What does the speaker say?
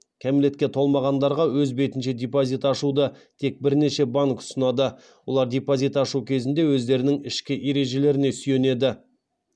кәмелетке толмағандарға өз бетінше депозит ашуды тек бірнеше банк ұсынады олар депозит ашу кезінде өздерінің ішкі ережелеріне сүйенеді